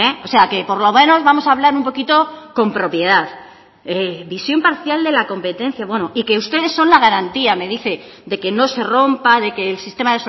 o sea que por lo menos vamos a hablar un poquito con propiedad visión parcial de la competencia bueno y que ustedes son la garantía me dice de que no se rompa de que el sistema